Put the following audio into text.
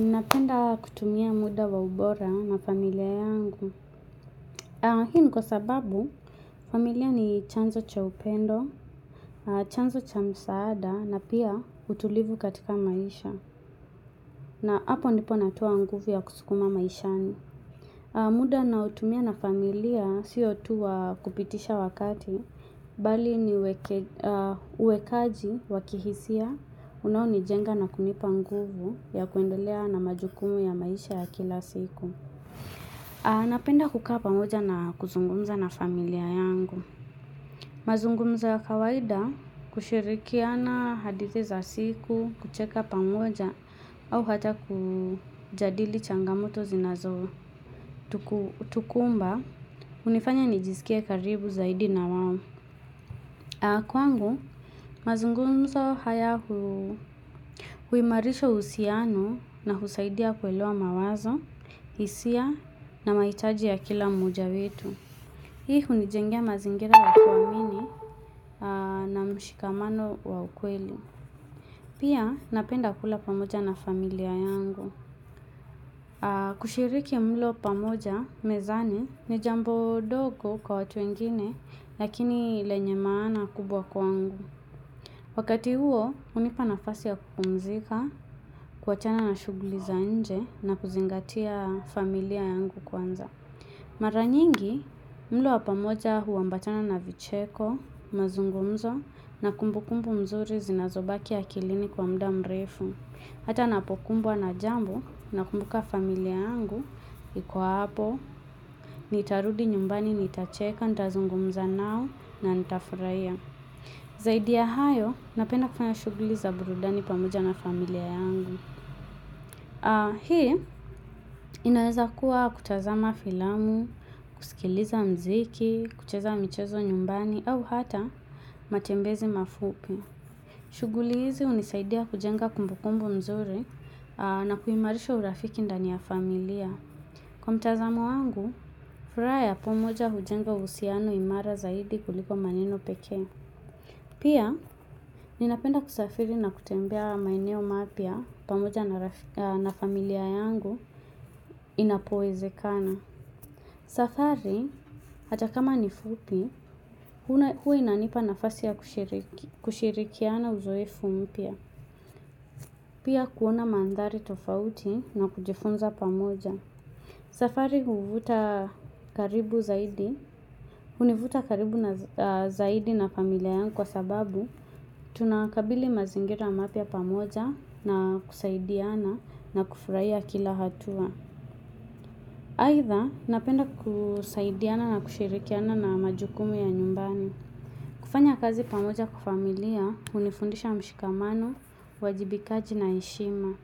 Napenda kutumia muda wa ubora na familia yangu. Hii ni kwa sababu familia ni chanzo cha upendo, chanzo cha msaada na pia utulivu katika maisha. Na hapo ndipo natoa nguvu ya kuskuma maishani. Muda naotumia na familia siyo tu wa kupitisha wakati. Bali ni uwekaji wa kihisia unaonijenga na kunipa nguvu ya kuendelea na majukumu ya maisha ya kila siku. Napenda kukaa pamoja na kuzungumza na familia yangu. Mazungumzo ya kawaida, kushirikiana hadithi za siku, kucheka pamoja au hata kujadili changamoto zinazotukumba. Hunifanya nijiskie karibu zaidi na wao. Kwangu, mazungumzo haya huimarisha uhusiano na husaidia kuelewa mawazo, hisia na mahitaji ya kila mmoja wetu. Hii hunijengea mazingira ya kuamini na mshikamano wa ukweli. Pia napenda kula pamoja na familia yangu. Kushiriki mlo pamoja mezani ni jambo dogo kwa watu wengine, lakini lenye maana kubwa kwangu. Wakati huo, hunipa nafasi ya kupumzika, kuwachana na shughuli za nje na kuzingatia familia yangu kwanza. Mara nyingi mlo wa pamoja huambatana na vicheko, mazungumzo, na kumbu kumbu nzuri zinazobaki akilini kwa mda mrefu. Hata napokumbwa na jambo, nakumbuka familia yangu iko hapo, nitarudi nyumbani nitacheka, nitazungumza nao na nitafurahia. Zaidi ya hayo, napenda kufanya shughuli za burudani pamoja na familia yangu. Hii inaweza kuwa kutazama filamu, kusikiliza mziki, kucheza michezo nyumbani au hata matembezi mafupi. Shughuli hizi hunisaidia kujenga kumbu kumbu nzuri na kuimarisha urafiki ndani ya familia. Kwa mtazamo wangu, furaha ya pamoja hujenga uhusiano imara zaidi kuliko maneno pekee. Pia, ninapenda kusafiri na kutembea maeneo mapya pamoja na familia yangu inapowezekana. Safari, hata kama ni fupi huwa inanipa nafasi ya kushirikiana uzoefu mpya. Pia kuona manthari tofauti na kujifunza pamoja. Safari huvuta karibu zaidi, hunivuta karibu zaidi na familia yangu kwa sababu tunakabili mazingira mapya pamoja na kusaidiana na kufurahia kila hatua. Aidha, napenda kusaidiana na kushirikiana na majukumu ya nyumbani. Kufanya kazi pamoja kifamilia, hunifundisha mshikamano, uajibikaji na heshima.